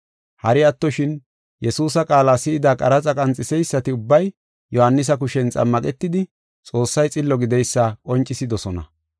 Hari attoshin, Yesuusa qaala si7ida qaraxa qanxiseysati ubbay Yohaanisa kushen xammaqetidi Xoossay xillo gideysa qoncisidosona.